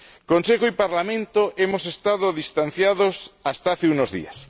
Consejo y Parlamento hemos estado distanciados hasta hace unos días.